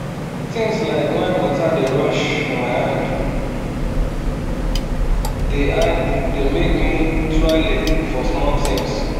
things like wen water dey rush for my hand dey hand dey make me tuale for small things